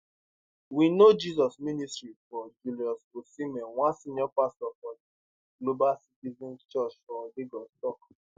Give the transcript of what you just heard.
we know jesus ministry for julius osimen one senior pastor for di global citizens church for lagos tok